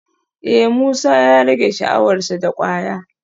Eh Musa ya rage sha'awar sa da kwaya